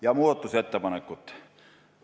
Nüüd muudatusettepanekutest.